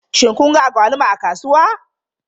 Shin kun ga agwaluma a kasuwa?